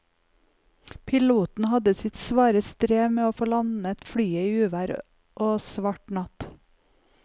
Piloten hadde sitt svare strev med å få landet flyet i uvær og svart natt.